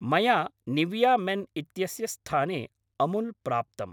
मया Nivea men इत्यस्य स्थाने अमूल् प्राप्तम्।